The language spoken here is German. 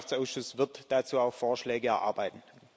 Der Landwirtschaftsausschuss wird dazu auch Vorschläge erarbeiten.